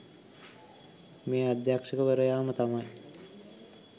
මේ අධ්‍යෂකවරයාම තමයි.